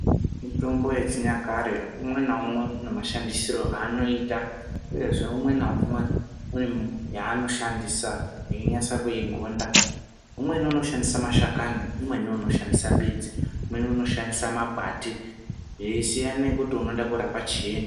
Mitombo yechinyakare, umwe newumwe unemashandisiro anoita. Uyezve, umwe newumwe , une yanoshandisa yeyinyatso kuyigonda. Umweni unoshandisa mashakami, umweni unoshandisa mbidzi, umweni unoshandisa makwati zveyisiyane kuti unoda kurapa chii.